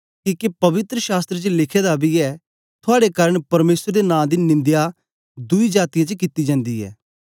किके पवित्र शास्त्र च लिखे दा बी ऐ थुआड़े कारन परमेसर दे नां दी निंदया दुई जातीयें च कित्ती जन्दी ऐ